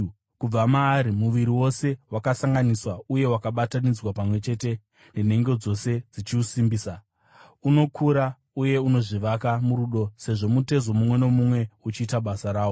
Kubva maari muviri wose, wakasanganiswa uye wakabatanidzwa pamwe chete nenhengo dzose dzichiusimbisa, unokura uye unozvivaka murudo, sezvo mutezo mumwe nomumwe uchiita basa rawo.